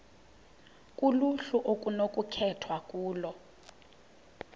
kuluhlu okunokukhethwa kulo